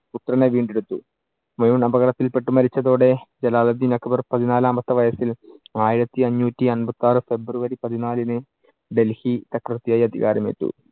പുത്രനെ വീണ്ടെടുത്തു. ഹുമയൂൺ അപകടത്തിൽ പെട്ട് മരിച്ചതോടെ ജലാലുദ്ധീൻ അക്ബർ പതിനാലാമത്തെ വയസ്സിൽ ആയിരത്തിയഞ്ഞൂറ്റി അമ്പത്തിയാറ്‌ ഫെബ്രുവരി പതിനാലിന് ഡൽഹി ചക്രവർത്തിയായി അധികാരം ഏറ്റു.